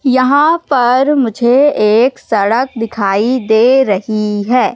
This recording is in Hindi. यहां पर मुझे एक सड़क दिखाई दे रही है।